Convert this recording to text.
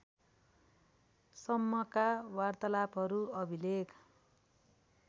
सम्मका वार्तालापहरू अभिलेख